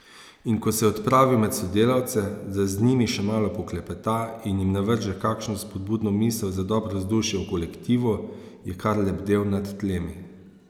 In ko se je odpravil med sodelavce, da z njimi še malo poklepeta in jim navrže kakšno spodbudno misel za dobro vzdušje v kolektivu, je kar lebdel nad tlemi.